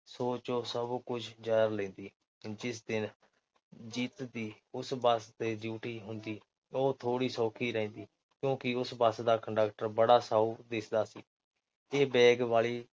ਸੋਚ ਉਹ, ਸਭ ਕੁਝ ਸਾਰ ਲੈਂਦੀ। ਜਿਸ ਦਿਨ ਜੀਤ ਦੀ ਉਸ ਬੱਸ ਤੇ ਡਿਊਟੀ ਹੁੰਦੀ, ਉਹ ਥੋੜ੍ਹੀ ਸੌਖੀ ਰਹਿੰਦੀ। ਕਿਉਂਕਿ ਉਸ ਬੱਸ ਦਾ ਕੰਡਕਟਰ ਬੜਾ ਸਾਊ ਦਿਸਦਾ ਸੀ। ਇਹ ਬੈਗ ਵਾਲੀ